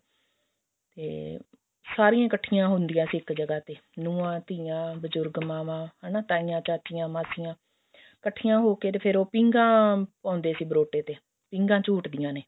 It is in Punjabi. ਤੇ ਸਾਰੀਆਂ ਇੱਕਠੀਆਂ ਹੁੰਦੀਆਂ ਸੀ ਇੱਕ ਜਗ੍ਹਾ ਤੇ ਨੁਹਾਂ ਧੀਆਂ ਬਜੁਰਗ ਮਾਵਾਂ ਹਨਾ ਤਾਈਆਂ ਚਾਚੀਆਂ ਮਾਸੀਆਂ ਕੱਠੀਆਂ ਹੋਕੇ ਤੇ ਫ਼ੇਰ ਉਹ ਪੀਂਘਾਂ ਪਾਉਂਦੇ ਸੀ ਬਰੋਟੇ ਤੇ ਪੀਂਘਾਂ ਝੂਟਦੀਆਂ ਨੇ